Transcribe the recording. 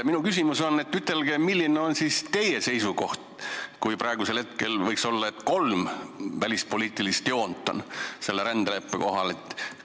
Milline on siis teie seisukoht, kui praegu võiks olla kolm välispoliitilist joont selle rändeleppe koha pealt?